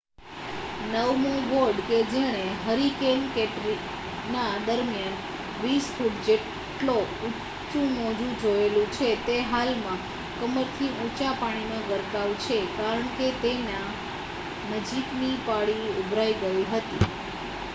નવમો વોર્ડ કે જેણે હરિકેન કેટરિના દરમિયાન 20 ફુટ જેટલો ઊંચુ મોજું જોયેલું છે તે હાલમાં કમરથી ઊંચા પાણીમાં ગરકાવ છે કારણકે તેના નજીકની પાળી ઊભરાઈ ગઈ હતી